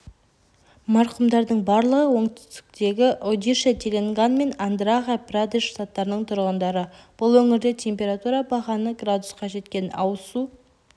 марқұмдардың барлығы оңтүстіктегі одишье теланган мен андхра-прадеш штаттарының тұрғындары бұл өңірде температура бағаны градусқа жеткен ауызсу